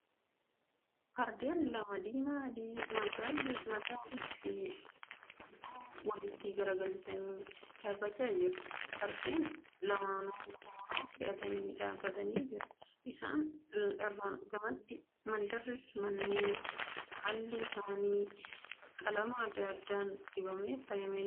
Fardren lama diimaa di magaalli mataa fi hudduu walitti garagalchanii dhaabbachaa jiru. Fardeen lamanuu kooraa fe'atanii dhaabbatanii jiru. Isaan irraan gamatti mandarri manneen alli isaanii qalama adda addaan dibamee faayame ni jira.